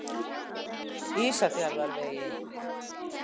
Ísafjarðarvegi